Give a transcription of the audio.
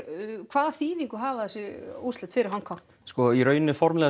hvaða þýðingu hafa þessi úrslit fyrir Hong Kong í raun formlega